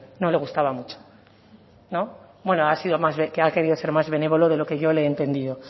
no le gustaba mucho ha sido más ha querido ser más benévolo de lo que yo le he entendido